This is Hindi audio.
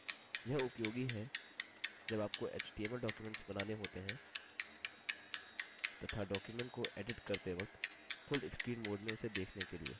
यह उपयोगी है जब आपको html documents बनाने होते हैं तथा documents को एडिट करते वक्त full screen mode में उसे देखने के लिए